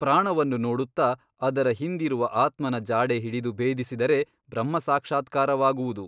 ಪ್ರಾಣವನ್ನು ನೋಡುತ್ತ ಅದರ ಹಿಂದಿರುವ ಆತ್ಮನ ಜಾಡೆ ಹಿಡಿದು ಭೇದಿಸಿದರೆ ಬ್ರಹ್ಮಸಾಕ್ಷಾತ್ಕಾರವಾಗುವುದು.